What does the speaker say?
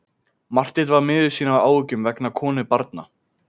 Marteinn var miður sín af áhyggjum vegna konu og barna.